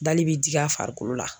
Dali bɛ digi a farikolo la.